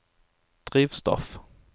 drivstoff